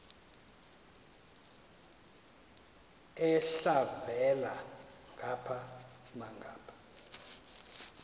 elhavela ngapha nangapha